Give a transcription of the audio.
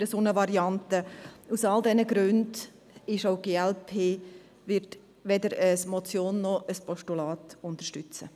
Aus all diesen Gründen wird auch die glp-Fraktion weder die Motion noch das Postulat unterstützen.